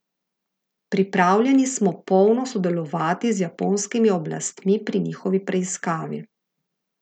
Pripravljeni smo polno sodelovati z japonskimi oblastmi pri njihovi preiskavi.